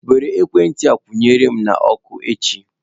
Were ekwentị a kwụ nyere m na ọkụ echi.